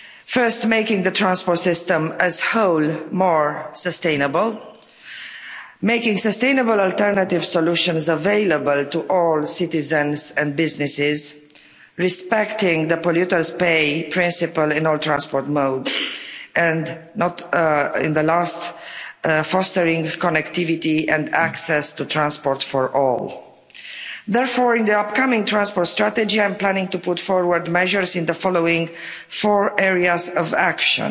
First making the transport system as a whole more sustainable, making sustainable alternative solutions available to all citizens and businesses, respecting the polluters pay principle in all transport mode and, not in the last, fostering connectivity and access to transport for all. Therefore, in the upcoming transport strategy, I am planning to put forward measures in the following four areas of action.